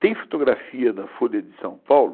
Tem fotografia na Folha de São Paulo